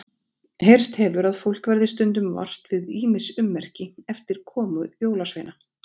Heyrst hefur að fólk verði stundum vart við ýmis ummerki eftir komu jólasveina.